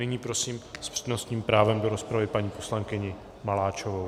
Nyní prosím s přednostním právem do rozpravy paní poslankyni Maláčovou.